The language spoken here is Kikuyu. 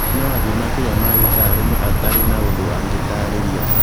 No athiĩ makĩria ma ithaa rĩmwe atarĩ na ũndũ angĩtaarĩria